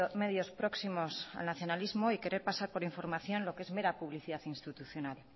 medios próximos al nacionalismo y querer pasar por información lo que es mera publicidad institucional